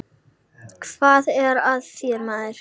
Hvað er að þér, maður?